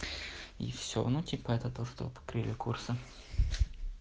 и все ну типа это то что бы открыли курсы